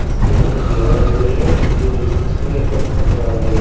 इसके दीवाल बनी है जो नीचे से चिकनी और ऊपर से पत्थर वाली है।